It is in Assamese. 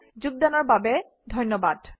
অংশগ্ৰহণৰ বাবে ধন্যবাদ